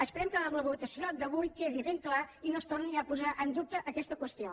esperem que amb la votació d’avui quedi ben clar i no es torni a posar en dubte aquesta qüestió